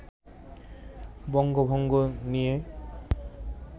বঙ্গভঙ্গ নিয়ে